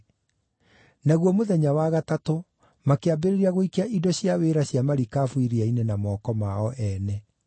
Naguo mũthenya wa gatatũ makĩambĩrĩria gũikia indo cia wĩra cia marikabu iria-inĩ na moko mao ene.